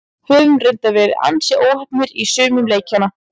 Höfum reyndar verið ansi óheppnir í sumum leikjanna.